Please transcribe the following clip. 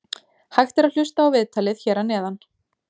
Hægt er að hlusta á viðtalið hér að neðan.